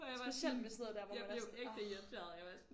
Specielt med sådan noget der hvor man er sådan orh